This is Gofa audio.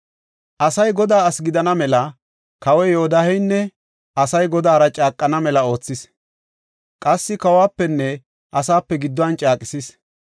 Asay Godaa asi gidana mela, kawoy Yodaaheynne asay Godaara caaqana mela oothis. Qassi kawuwapenne asaape gidduwan caaqisis.